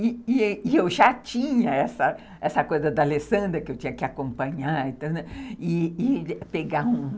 E eu já tinha essa coisa da Alessandra, que eu tinha que acompanhar e pegar um.